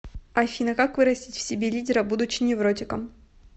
афина как вырастить в себе лидера будучи невротиком